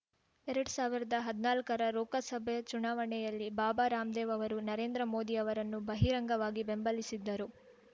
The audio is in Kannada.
ಎರಡ್ ಸಾವಿರ್ದಾ ಹದ್ನಾಲ್ಕರ ಲೋಕಸಭೆ ಚುನಾವಣೆಯಲ್ಲಿ ಬಾಬಾ ರಾಮದೇವ್‌ ಅವರು ನರೇಂದ್ರ ಮೋದಿ ಅವರನ್ನು ಬಹಿರಂಗವಾಗಿ ಬೆಂಬಲಿಸಿದ್ದರು